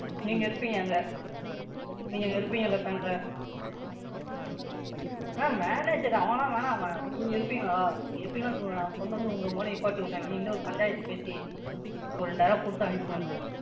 நீங்க இருப்பீங்க அங்க? நீங்க அங்க இருப்பீங்கல்ல Bank ல Ma'am நான் என்னத்துக்கு? நான்லாம் வேணாம் Ma'am நீங்க இருப்பீங்களா? நீங்க இருப்பீங்கன்னா சொல்லுங்க? நான் கொண்டுவந்து உங்க முன்னாடி நிப்பாட்டிற்றன். நீங்களே பஞ்சாயத்து பேசி ஒரு ரெண்டாயிர ரூபாய் கொடுத்து அனுப்புங்க.